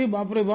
बापरेबाप